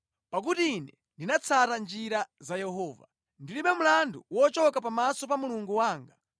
Pakuti ine ndinatsata njira za Yehova; ndilibe mlandu wochoka pamaso pa Mulungu wanga.